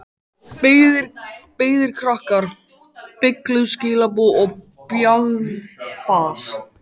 Beygðir krakkar, beygluð skilaboð og bjagað fas.